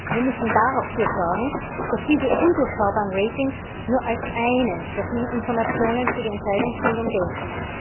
Wir müssen dafür sorgen, dass diese undurchschaubaren Ratings nur als eine der vielen Informationen für die Entscheidungsfindung gelten.